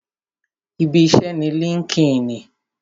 Ibi iṣẹ́ ni líńki-inì